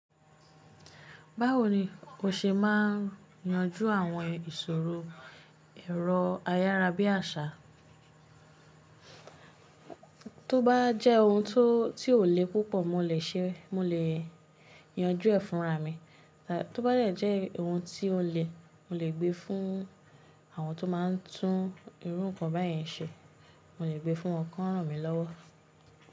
Báwo ni ko ṣe máa ń yanjú àwọn ìṣòro èrọ ayárabíàṣá? Tó bá jẹ́ ohun tó, tí ò le púpọ̀ mo lè ṣe, mo lè yanjú ẹ̀ fúnra mi. Tábá jẹ́ ohun tí ó le, mo lè gbé fún àwọn tó máa ń tún irú nǹkan báyen ṣe, mo lè gbé fún wọn kọ́ rán mi lọ́wọ́.